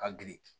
Ka girin